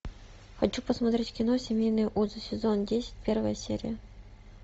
хочу посмотреть кино семейные узы сезон десять первая серия